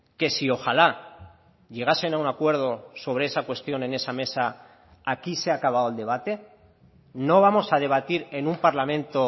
que si ojalá llegasen a un acuerdo sobre esa cuestión en esa mesa aquí se ha acabado el debate no vamos a debatir en un parlamento